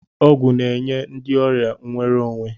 Ọgwụ na-enye ndị ọrịa nwere onwe.